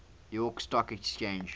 york stock exchange